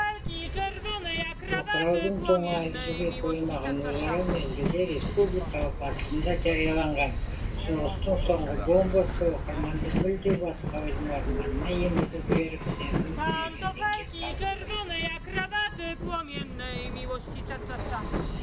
тоқыраудың тоңы әлі жіби қоймаған өліара мезгілде республикалық басылымда жарияланған соғыстың соңғы бомбасы оқырманды мүлде басқа ойдың орманына енгізіп жіберіп сезімін сергелдеңге салып қойды